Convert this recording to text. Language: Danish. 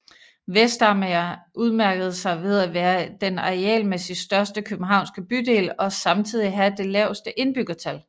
Vestamager udmærkede sig ved at være den arealmæssigt største københavnske bydel og samtidig have det laveste indbyggertal